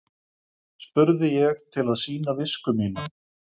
spurði ég til að sýna visku mína.